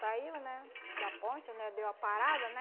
Caiu, né, da ponte, né, deu a parada, né?